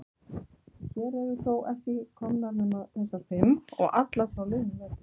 Hér eru þó ekki komnar nema þessar fimm. og allar frá liðnum vetri.